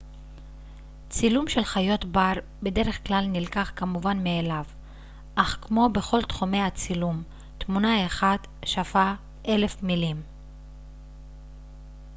צילום של חיות בר בדרך-כלל נלקח כמובן מאליו אך כמו בכל תחומי הצילום תמונה אחת שווה אלף מילים